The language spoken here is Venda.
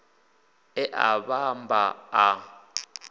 e a a vhamba a